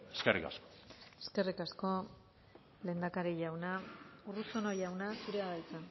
eskerrik asko eskerrik asko lehendakari jauna urruzuno jauna zurea da hitza